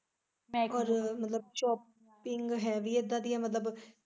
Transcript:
ਔਰ ਮਤਲਬ shopping ਹੈ ਵੀ ਇੱਦਾਂ ਦੀ ਐ ਮਤਲਬ।